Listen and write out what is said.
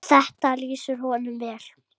Þetta lýsir honum vel.